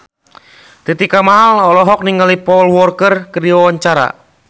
Titi Kamal olohok ningali Paul Walker keur diwawancara